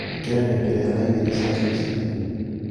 īkira ngengere ya thaa igīri cia ruciinī